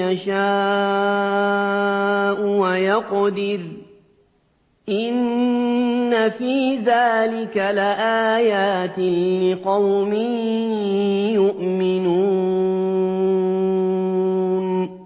يَشَاءُ وَيَقْدِرُ ۚ إِنَّ فِي ذَٰلِكَ لَآيَاتٍ لِّقَوْمٍ يُؤْمِنُونَ